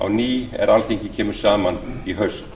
ný er alþingi kemur saman í haust